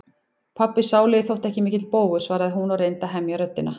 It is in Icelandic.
Pabbi sálugi þótti ekki mikill bógur, svaraði hún og reyndi að hemja röddina.